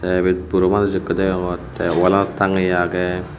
te ibet buro manuj ekko deongor tey walanot tangeye agey.